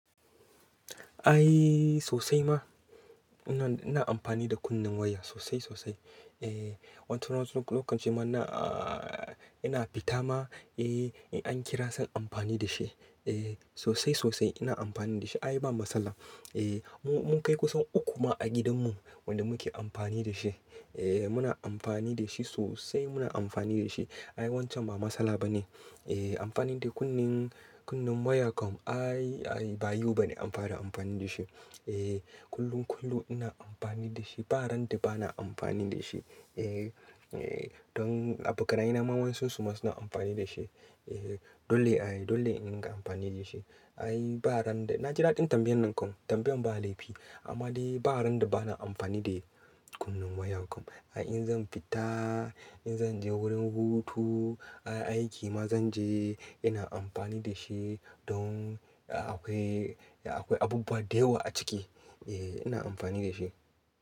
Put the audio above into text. Ai sosai ma. Ina ina amfani da kunnen waya sosai sosai. Ehh, wani lokacin ma ina aa ina fita ma, eh in an kira zan amfani da shi. E sosai sosai ina amfani da shi. Ai ba matsala. E mu mun kai kusan uku ma a gidanmu wanda muke amfani da shi. Ee muna amfani da shi sosai muna amfani da shi. Ai wancan ba matsala ba ne. E amfani da kunnen, kunnen waya kam ai ba yau ba ne amfara amfani da shi. E kullum kullum ina amfani da shi. Baranda bana amfani da shi. E e don a bokanayena wayansun su ma suna amfani da shi. E dole ai dole in ga amfani da shi. Ai baranda, na ji daɗin tambayan nan kam tambayan ba laifi. Amma dai baranda bana amfani da kunnen waya kam. Ai in zan fita, in zan je wurin hutu, a aiki ma zan je ina amfani da shi don akwai, akwai abubuwa da yawa a ciki. E ina amfani da shi.